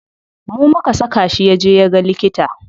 Mu muka saka shi yaje yaga likita.